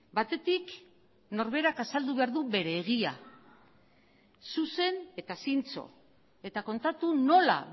batetik norberak azaldu behar du bere egia zuzen eta zintzo eta kontatu nola